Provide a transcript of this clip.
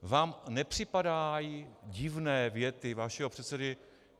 Vám nepřipadají divné věty vašeho předsedy?